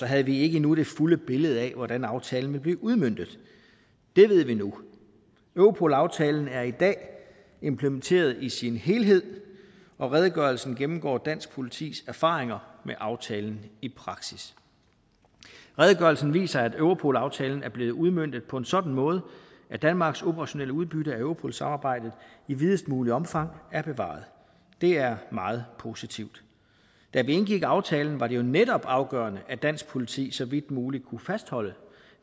havde vi ikke endnu det fulde billede af hvordan aftalen ville blive udmøntet det ved vi nu europol aftalen er i dag implementeret i sin helhed og redegørelsen gennemgår dansk politis erfaringer med aftalen i praksis redegørelsen viser at europol aftalen er blevet udmøntet på en sådan måde at danmarks operationelle udbytte af europol samarbejdet i videst muligt omfang er bevaret det er meget positivt da vi indgik aftalen var det jo netop afgørende at dansk politi så vidt muligt kunne fastholde